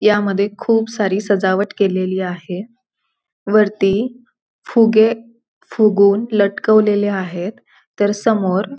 ह्यामध्ये खुप सारी सजावट केलेली आहे वरती फुगे फुगऊन लटकवलेले आहेत तर समोर --